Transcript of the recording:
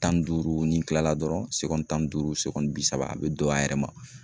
Tan ni duuru ni kila la dɔrɔn tan ni duuru bi saba a bɛ don a yɛrɛ ma.